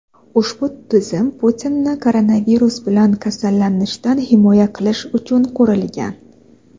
Ushbu tizim Putinni koronavirus bilan kasallanishdan himoya qilish uchun qurilgan.